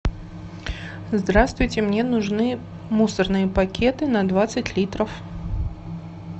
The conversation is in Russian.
здравствуйте мне нужны мусорные пакеты на двадцать литров